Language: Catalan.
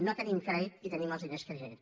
no tenim crèdit i tenim els diners que tenim